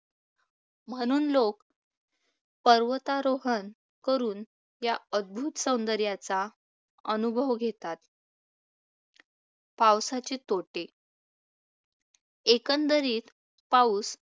म्हणून लोक पर्वतारोहण करून या अद्भुत सौंदर्याचा अनुभव घेतात. पावसाचे तोटे एकंदरीत पाऊस